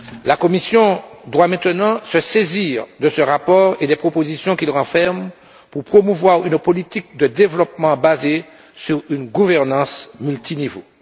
La Commission doit maintenant se saisir de ce rapport et des propositions qu'il renferme, pour promouvoir une politique de développement basée sur une gouvernance multiniveau.